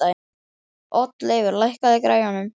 Oddleifur, lækkaðu í græjunum.